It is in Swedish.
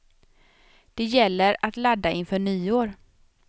Det gäller att ladda inför nyår.